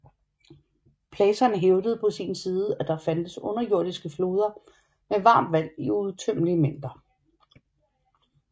Platon hævdede på sin side at der fandtes underjordiske floder med varmt vand i uudtømmelige mængder